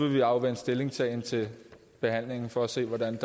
vi afvente stillingtagen til behandlingen for at se hvordan